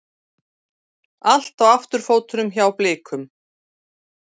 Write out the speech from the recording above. Allt á afturfótunum hjá Blikum